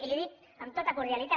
i li ho dic amb tota cordialitat